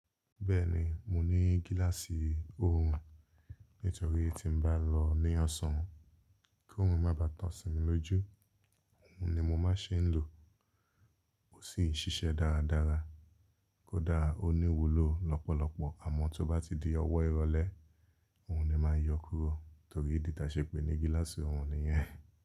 Bẹ́ẹ̀ni, mo ní gíláàsì òòrùn nítorí tí n bá lọ ní ọ̀sán kí òòrùn má bá tàn sínú lójú òòrùn ni mo máa n ṣe ń lò. Ó sì ń ṣiṣẹ́ dáradára kódà ó ní iwulò lọ́pọ̀lọpọ̀ àmọ́ tó bá ti di ọwọ́ ìrọ̀lẹ́ òun ni màá yọ kúrò torí ìdí tí a ṣe pè é ní gíláàsì òòrùn nìyẹn.